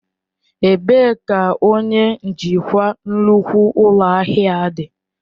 Ebee ka onye njikwa nnukwu ụlọ ahịa dị?